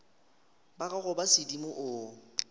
ba gago ba sedimo o